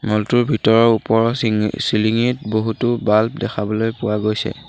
মল টোৰ ভিতৰৰ ওপৰৰ চিঙি চিলিংঙিত বহুতো বাল্ব দেখাবলৈ পোৱা গৈছে।